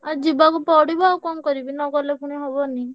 ଆଉ ଯିବାକୁ ପଡିବ ଆଉ କଣ କରିବି ନଗଲେ ପୁଣି ହବନି।